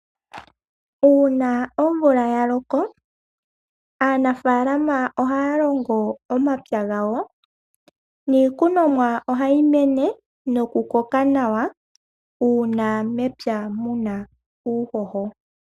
Uuna omvula yaloko aanafalama ohayalongo omapya gawo niikunomwa ohayi mene nokukoka nawa uuna mepya muna uuhoho.